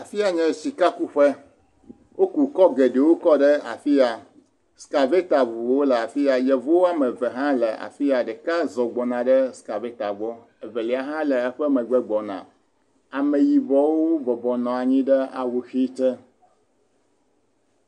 Afiya nye sika kuƒe. Woku kɔ geɖewo ɖe afi ya. Skaveta ŋuwo hã le afi ya. Yevu wo ame eve hã le afi ya. Ɖeka zɔ gbɔna va skaveta gbɔ, eve lia hã le megbe gbɔna. Ame yibɔwo bɔbɔnɔ anyi ɖe xɛxi te.